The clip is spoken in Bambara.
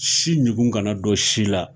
Si ɲugu kana dɔ si la